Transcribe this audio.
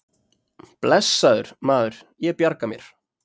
Blessaður, maður, ég bjarga mér.